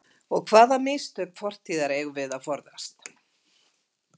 Og hvaða mistök fortíðar eigum við að forðast?